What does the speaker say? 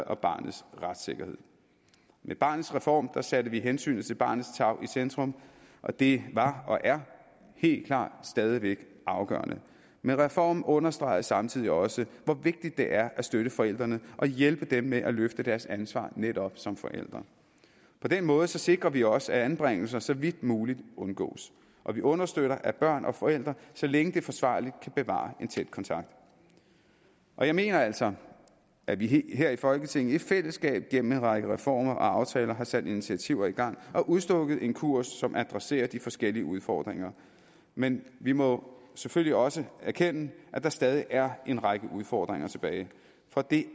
og barnets retssikkerhed med barnets reform satte vi hensynet til barnets tarv i centrum og det var og er helt klart stadig væk afgørende men reformen understreger samtidig også hvor vigtigt det er at støtte forældrene og hjælpe dem med at løfte deres ansvar netop som forældre på den måde sikrer vi også at anbringelser så vidt muligt undgås og vi understøtter at børn og forældre så længe det er forsvarligt kan bevare en tæt kontakt jeg mener altså at vi her i folketinget i fællesskab gennem en række reformer og aftaler har sat initiativer i gang og udstukket en kurs som adresserer de forskellige udfordringer men vi må jo selvfølgelig også erkende at der stadig er en række udfordringer tilbage for det